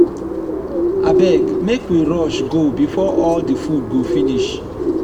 abeg make we rush go before all the food go finish.